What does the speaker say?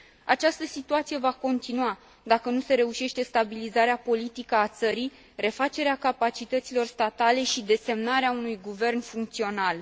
Această situație va continua, dacă nu se reușește stabilizarea politică a țării, refacerea capacităților statale și desemnarea unui guvern funcțional.